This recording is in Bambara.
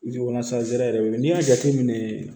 yɛrɛ wele n'i y'a jateminɛ